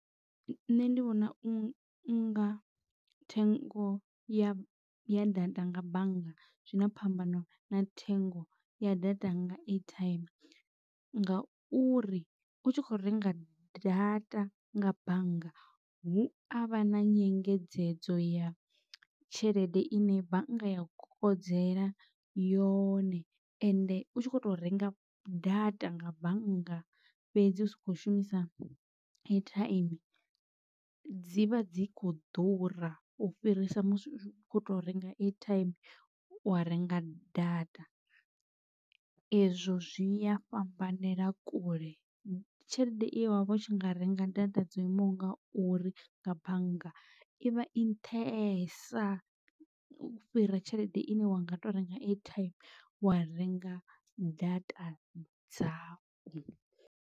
Nṋe ndi vhona u nga thengo ya ya data nga bannga zwina phambano na thengo ya data nga airtime ngauri u tshi kho renga data nga bannga hu avha na nyengedzedzo ya tshelede ine bannga ya kokodzela yone ende u tshi kho to renga data nga bannga fhedzi usa kho shumisa ethaimi dzi vha dzi kho ḓura u fhirisa musi u khou to renga airtime wa renga data. Ezwo zwi a fhambanela kule tshelede ine wavha u tshi nga renga data dzo imaho nga uri nga bannga i vha i nṱhesa u fhira tshelede ine wanga to renga airtime wa renga data dzau.